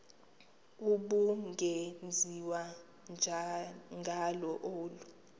ubungenziwa ngalo olu